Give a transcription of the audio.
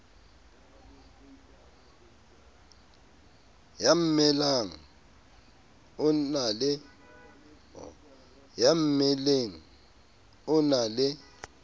ya mmeleng o na le